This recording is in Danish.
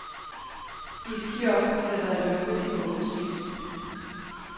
Iskiosken havde været lukket i månedsvis.